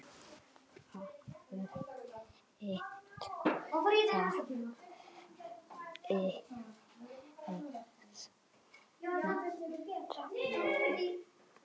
Þeir vita það fyrir vestan